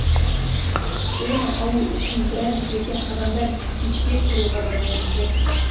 оны алу үшін біраз жерде адамдар кезекте тұруға да мәжбүр